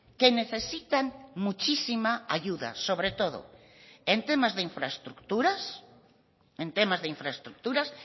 que necesitan muchísima ayuda sobre todo en temas de infraestructuras en temas de infraestructuras